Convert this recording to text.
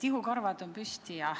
Ihukarvad on püsti.